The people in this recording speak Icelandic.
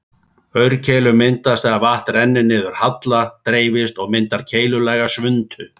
Aurkeilur myndast þegar vatn rennur niður halla, dreifist og myndar keilulaga svuntu.